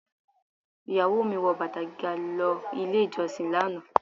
Ìyàwó mi wọ bàtà gíga lọ ilé ìjọsìn lánàá.